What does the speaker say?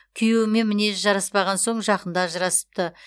күйеуімен мінезі жараспаған соң жақында ажырасыпты